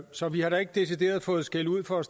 så vi har ikke decideret fået skældud for at